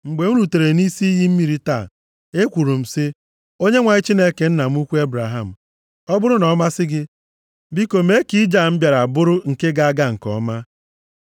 “Mgbe m rutere nʼisi iyi mmiri taa, ekwuru m sị, ‘ Onyenwe anyị Chineke nna m ukwu Ebraham, ọ bụrụ na ọ masị gị, biko mee ka ije a m bịara bụrụ nke ga-aga nke ọma.